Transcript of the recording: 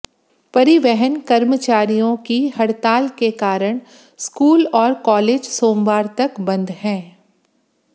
परिवहन कर्मचारियों की हड़ताल के कारण स्कूल और कॉलेज सोमवार तक बंद हैं